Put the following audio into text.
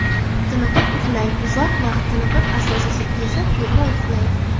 Tiniqib uxlang Uzoq vaqt, tiniqib asosiysi esa to‘g‘ri uxlang.